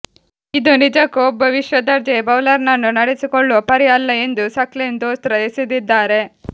ಇದು ನಿಜಕ್ಕೂ ಒಬ್ಬ ವಿಶ್ವ ದರ್ಜೆಯ ಬೌಲರ್ ನನ್ನು ನಡೆಸಿಕೊಳ್ಳುವ ಪರಿ ಅಲ್ಲ ಎಂದು ಸಕ್ಲೇನ್ ದೂಸ್ರಾ ಎಸೆದಿದ್ದಾರೆ